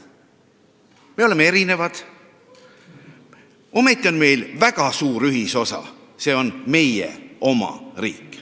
Me oleme erinevad, ometi on meil väga suur ühisosa – see on meie oma riik.